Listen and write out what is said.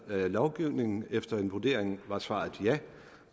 lovgivning og efter en vurdering var svaret ja